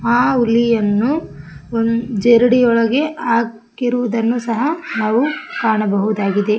ಆ ಹುಲಿಯನ್ನು ಓ ಜರಡಿಯೊಳಗೆ ಹಾಕಿರುವುದನ್ನು ಸಹ ನಾವು ಕಾಣಬಹುದಾಗಿದೆ.